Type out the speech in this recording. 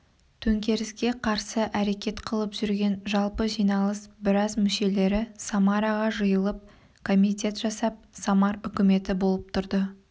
төңкеріске қарсы әрекет қылып жүрген жалпы жиналыс біраз мүшелері самараға жиылып комитет жасап самар үкіметі болып тұрды